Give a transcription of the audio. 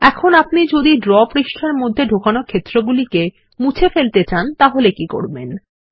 এখন আপনি যদি ড্র পাতার মধ্যে ঢোকানো ক্ষেত্রগুলিকে মুছে ফেলতে চান তাহলে কি করবেন160